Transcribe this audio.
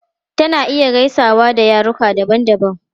Tana iya gaisawa da yaruka daban-daban.